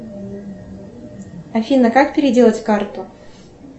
афина как переделать карту